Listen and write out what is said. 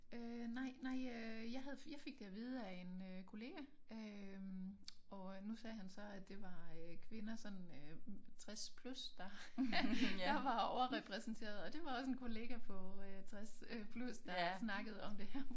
Øh nej nej øh jeg havde jeg fik det at vide af en øh kollega øh og nu sagde han så at det var øh kvinder sådan øh 60 plus der der var overrepræsenterede og det var også en kollega på øh 60 øh plus der snakkede om det her